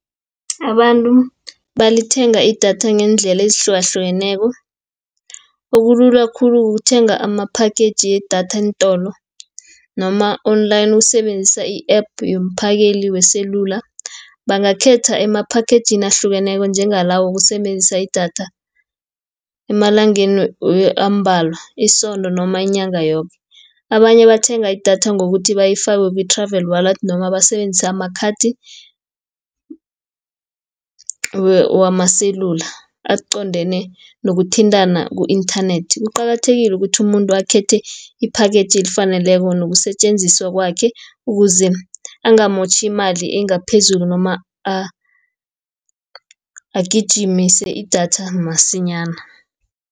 Abantu balithenga idatha ngeendlela ezihlukahlukeneko, okulula khulu ukuthenga amaphakheji yedatha eentolo, noma Online. Ukusebenzisa i-app yomphakeli weselula. Bangakhetha eemphakhejini ahlukeneko njengalawo wokusebenzisa idatha, emalangeni ambalwa, isondo noma inyanga yoke. Abanye bathenga idatha ngokuthi bayifake ku-Travel Wallet, noma basebenzise amakhathi wamaselula aqondene nokuthintana ku-inthanethi. Kuqakathekile ukuthi umuntu akhethe iphakheji elifaneleko, nokusetjenziswa kwakhe ukuze angamotjhi imali engaphezulu, noma agijimise idatha masinyana.